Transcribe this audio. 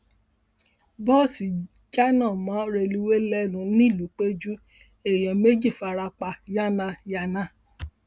bọọsì jánà mọ rélùwéè lẹnu ńìlúpẹjù èèyàn méjì fara pa yánnayànna